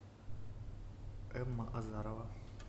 эмма азарова